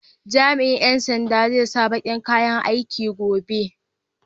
Jami'in ƴan sandan zai sa baƙin kayan aiki gobe.